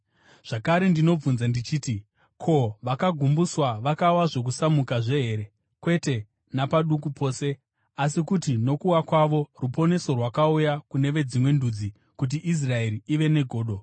Zvakare ndinobvunza ndichiti: Ko, vakagumbuswa vakawa zvokusazomukazve here? Kwete napaduku pose! Asi kuti nokuwa kwavo ruponeso rwakauya kune veDzimwe Ndudzi kuti Israeri ive negodo.